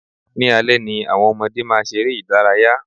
Ní alẹ́ ni àwọn ọmọdé máa ṣeré ìdárayá.